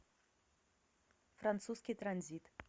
французский транзит